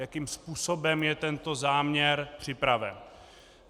Jakým způsobem je tento záměr připraven.